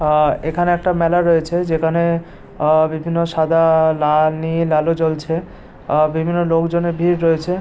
আ এইখানে একটা মেলা রয়েছে। যেখানে বিভিন্ন সাদা নীল আলো জ্বলছে আ বিভিন্ন লোকজনের ভিড় রয়েছে।